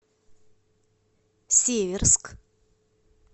северск